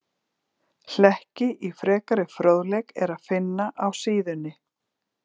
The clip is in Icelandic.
Hlekki í frekari fróðleik er að finna á síðunni.